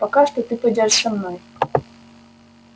а пока что ты пойдёшь со мной